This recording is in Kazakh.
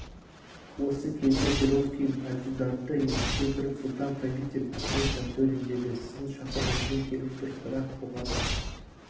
осы кезде перовскийдің адъютанты есіктен кіріп сұлтан-правитель ахмет жантөрин деді сіздің шақыруыңызбен келіп тұр бірақ бұған